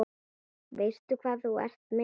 Veistu hvað þú ert með?